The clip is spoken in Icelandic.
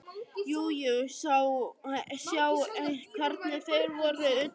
Jú jú, sjá hvernig þeir voru utan í henni.